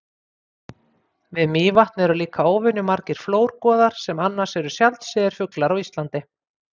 Við Mývatn eru líka óvenju margir flórgoðar sem annars eru sjaldséðir fuglar á Íslandi.